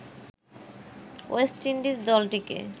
West Indies দলটিকে